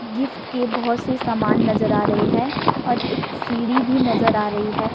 Gift के बहुत से सामान नजर आ रहे हैं और एक सीढ़ी भी नजर आ रही है।